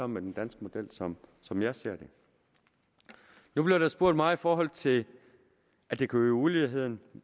med den danske model som som jeg ser det nu blev der spurgt meget i forhold til at det kunne øge uligheden